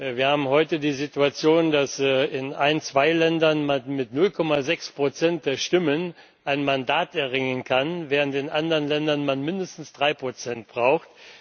Wir haben heute die Situation, dass man in ein, zwei Ländern mit 0,6 Prozent der Stimmen ein Mandat erringen kann, während man in anderen Ländern mindestens 3 Prozent braucht.